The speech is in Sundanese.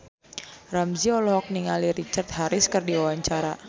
Ramzy olohok ningali Richard Harris keur diwawancara